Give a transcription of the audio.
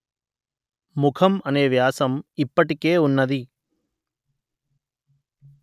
ముఖం అనే వ్యాసం ఇప్పటికే ఉన్నది